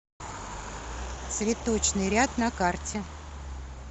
цветочный ряд на карте